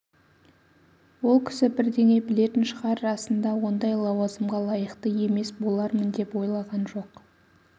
ол кісі бірдеңе білетін шығар расында ондай лауазымға лайықты емес болармын деп ойлаған жоқ